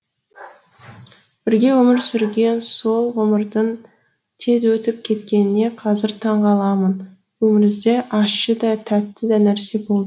бірге өмір сүрген сол ғұмырдың тез өтіп кеткеніне қазір таңғаламын өмірімізде ащы да тәтті де нәрсе болды